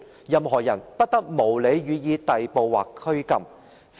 任何人不得無理予以逮捕或拘禁。